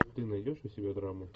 ты найдешь у себя драму